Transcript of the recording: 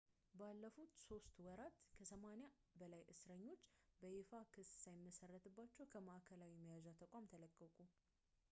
ባለፉት 3 ወራት ከ80 በላይ እስርተኞች በይፋ ክስ ሳይመሰረትባቸው ከማዕከላዊ መያዣ ተቋም ተለቀቁ